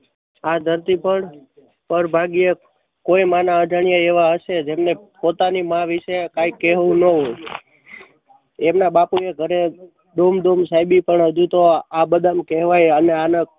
આ ધરતી પર પરભાગ્યે કોઈ માના અજાણ્યા એવા હશે જેમણે પોતાની માં વિશે કાઈ કેહવું નવું. એમના બાપુ ને ઘરે ઘૂમ ઘૂમ સેબી પણ હજુ તો આ બદામ કહેવાય અને આના